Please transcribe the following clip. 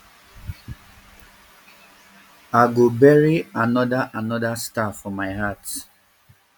i go bury anoda anoda star for my heart